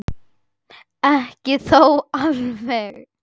Ekki þó alveg.